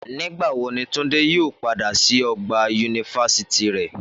Nígbà wo ni Túndé yóò padà sí ọgbà yunifásítì rẹ?